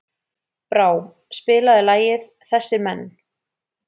Brá, spilaðu lagið „Þessir Menn“.